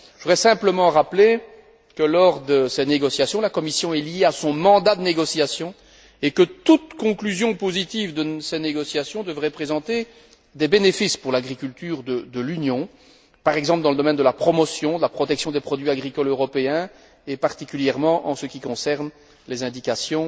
Je voudrais simplement rappeler que, lors de ces négociations, la Commission est liée à son mandat de négociation et que toute conclusion positive de ces négociations devrait présenter des bénéfices pour l'agriculture de l'Union, par exemple dans le domaine de la promotion, de la protection des produits agricoles européens et particulièrement en ce qui concerne les indications